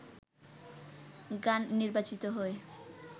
গান নির্বাচিত হয়